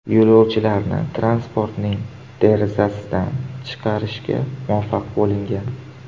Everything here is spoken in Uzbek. Yo‘lovchilarni transportning derazasidan chiqarishga muvaffaq bo‘lingan.